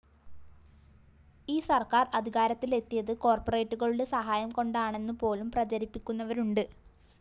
ഈ സര്‍ക്കാര്‍ അധികാരത്തിലെത്തിയത് കോര്‍പ്പറേറ്റുകളുടെ സഹായം കൊണ്ടാണെന്നുപോലും പ്രചരിപ്പിക്കുന്നവരുണ്ട്